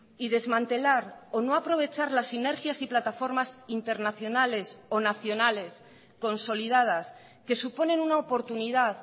y desmantelar o no aprovechar las sinergias y plataformas internacionales o nacionales consolidadas que suponen una oportunidad